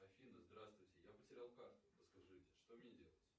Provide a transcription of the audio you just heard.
афина здравствуйте я потерял карту подскажите что мне делать